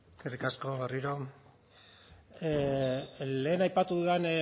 eskerrik asko berriro lehen aipatu dudan